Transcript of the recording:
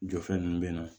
Jɔfɛn ninnu bɛ yen nɔ